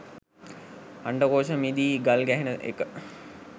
අණ්ඩකෝෂ මිදී ගල්ගැහෙන එක.